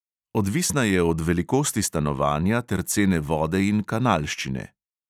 Odvisna je od velikosti stanovanja ter cene vode in kanalščine.